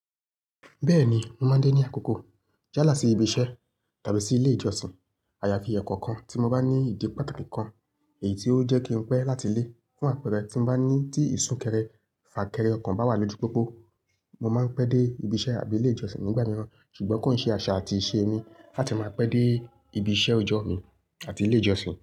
Bẹ́ẹ̀ni, mo máa ń dé ní àkókò jálá sí ibi iṣẹ́ tàbí sí ilé ìjọsìn. Àyàfi ẹ̀kọ́ kan tí mo bá ní ìdí pàtàkì kan èyí tí ó jẹ́ kí n pẹ́ láti lé fún àpẹẹrẹ tí mo bá ní tí ìsúnkeré fà kéré ọko bá wà lójú pópó. Mo máa ń pẹ́ dé ibi iṣẹ́ àbí ilé ìjọsìn nígbà mìíràn ṣùgbọ́n kò ní ṣe àṣà àti ìṣe mi láti máa pẹ́ dé ibi iṣẹ́ òjọ́ mi àti ilé ìjọsìn.